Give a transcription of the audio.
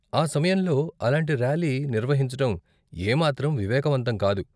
ఆ సమయంలో అలాంటి ర్యాలీ నిర్వహించటం ఏమాత్రం వివేకవంతం కాదు.